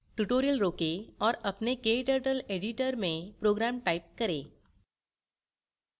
tutorial रोकें और अपने kturtle editor में program type करें